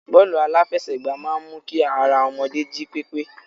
Bọ́ọ́lù aláfẹsẹ̀gbá máa ń mu kí ara ọmọdé jí pépé.